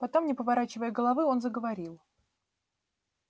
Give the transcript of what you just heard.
потом не поворачивая головы он заговорил